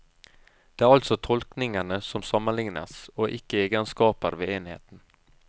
Det er altså tolkningene som sammenlignes, og ikke egenskaper ved enheten.